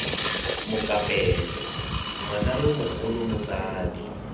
mokapelo ngwana yo mogolo motsadi